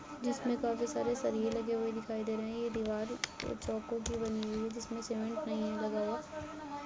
जिसमें काफी सारे सरिये लगे हुए दिखाई दे रहे हैं | ये दिवार की बनी हुई है जिसमें सीमेंट नहीं है लगा हुआ |